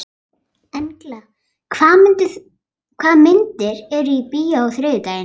Engla, hvaða myndir eru í bíó á þriðjudaginn?